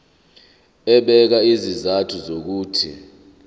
ebeka izizathu zokuthi